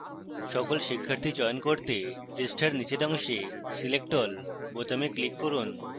সকল শিক্ষার্থী চয়ন করতে পৃষ্ঠার নীচের অংশে select all বোতামে click করুন